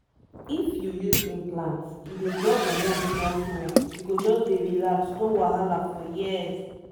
if you use implant e dey drop hormone small-small — you go just dey relax no wahala for years ah